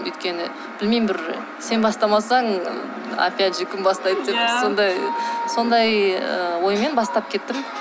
өйткені білмеймін бір сен бастамасаң опять же кім бастайды деп сондай сондай ы оймен бастап кеттім